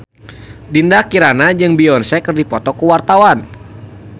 Dinda Kirana jeung Beyonce keur dipoto ku wartawan